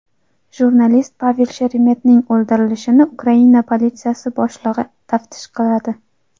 Jurnalist Pavel Sheremetning o‘ldirilishini Ukraina politsiyasi boshlig‘i taftish qiladi.